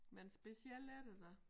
Men specielt er det da